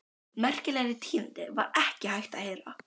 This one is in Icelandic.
Merkilegri tíðindi var ekki hægt að heyra.